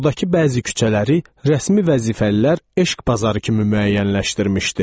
Buradakı bəzi küçələri rəsmi vəzifəlilər eşq bazarı kimi müəyyənləşdirmişdi.